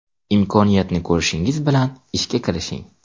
Imkoniyatni ko‘rishingiz bilan ishga kirishing.